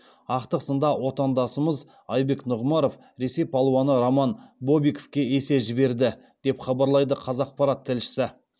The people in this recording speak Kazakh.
ақтық сында отандасымыз айбек нұғымаров ресей палуаны роман бобиковке есе жіберді деп хабарлайды қазақпарат тілшісі